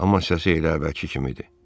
Amma səsi elə əvvəlki kimidir.